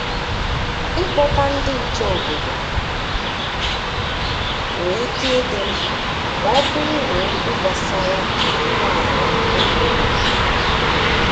I Kpọta ndị nche obodo nwe ike ịdị mkpa ma ọ bụrụ na okwu gbasara inwe ala ekweghị okwukwu.